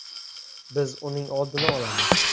Biz uning oldini olamiz.